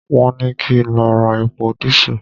Won ni ki n lo ra epo diesel